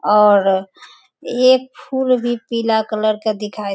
और ये फूल भी पीला कलर का दिखाई --